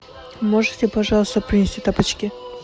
можете пожалуйста принести тапочки